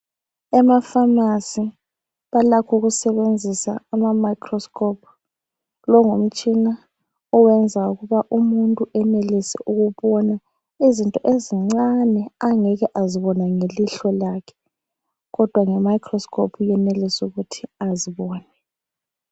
Ema pharmacy balakho ukusebenzisa ama microscope .Lowu ngumtshina oyenza umuntu eyenelise ukubona izinto ezincane angeke wazibona ngelihlo lakhe kodwa ngemicroscope uyenelisa ukuthi azibone.